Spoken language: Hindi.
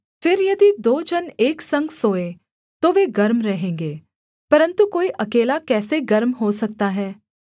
फिर यदि दो जन एक संग सोएँ तो वे गर्म रहेंगे परन्तु कोई अकेला कैसे गर्म हो सकता है